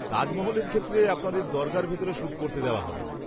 -তাজমহলের ক্ষেত্রে আপনাদের দরগার ভিতরে শ্যুট করতে দেওয়া হবেনা।